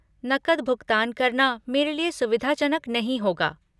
नकद भुगतान करना मेरे लिए सुविधाजनक नहीं होगा।